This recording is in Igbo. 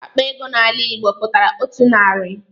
Akpa ego n'ala Igbo pụtara otu narị.